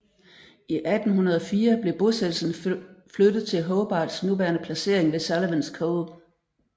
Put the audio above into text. I 1804 blev bosættelsen flyttet til Hobarts nuværende placering ved Sullivans Cove